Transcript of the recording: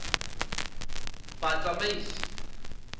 batsamaisi